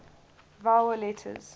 vowel letters